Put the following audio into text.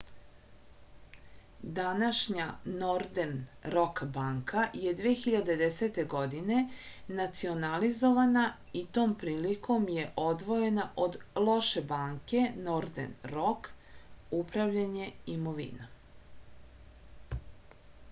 данашња нордерн рок банка је 2010. године национализована и том приликом је одвојена од лоше банке нордерн рок управљање имовином